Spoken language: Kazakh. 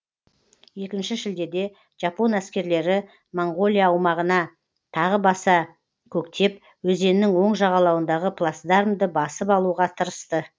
екінші шілдеде жапон әскерлері моңғолия аумағына тағы баса көктеп өзеннің оң жағалауындағы плацдармды басып алуға тырысты